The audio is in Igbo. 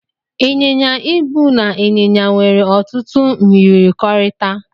Ị́n̄yin̄ya ịbụ na ịn̄yịn̄ya nwere otutu myirikọrịta.